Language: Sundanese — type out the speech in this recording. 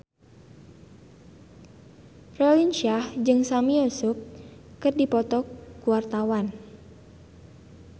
Raline Shah jeung Sami Yusuf keur dipoto ku wartawan